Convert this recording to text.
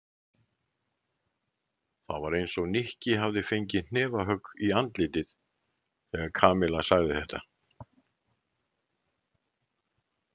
Það var eins og Nikki hefði fengið hnefahögg í andlitið þegar Kamilla sagði þetta.